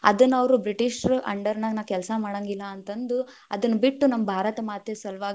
ಅದನ್ನ ಅವ್ರು ಬ್ರಿಟಿಷರ under ನಾಗ ನಾನ್ ಕೆಲ್ಸಾ ಮಾಡಂಗಿಲ್ಲ ಅಂತಂದು ಅದನ್‌ ಬಿಟ್ಟು ನಮ್ಮ ಭಾರತ ಮಾತೆಯ ಸಲುವಾಗಿ.